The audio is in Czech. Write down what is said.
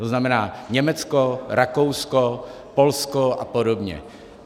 To znamená Německo, Rakousko, Polsko a podobně.